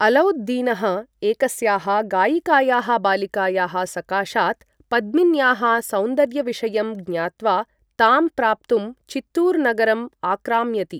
अलौद् दीनः एकस्याः गायिकायाः बालिकायाः सकाशात् पद्मिन्याः सौन्दर्य विषयं ज्ञात्वा, तां प्राप्तुं चित्तूर् नगरम् आक्राम्यति।